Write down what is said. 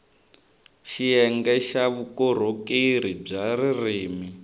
xiyenge xa vukorhokeri bya ririrmi